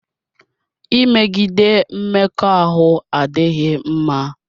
Imegide Mmekọahụ adịghị mma.